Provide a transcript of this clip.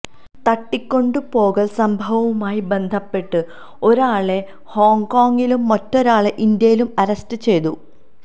തട്ടിക്കൊണ്ട് പോകല് സംഭവവുമായി ബന്ധപ്പെട്ട് ഒരാളെ ഹോങ്കോങ്ങിലും മറ്റൊരാളെ ഇന്ത്യയിലും അറസ്റ്റ് ചെയ്തു